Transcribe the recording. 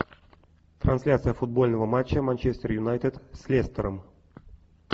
трансляция футбольного матча манчестер юнайтед с лестером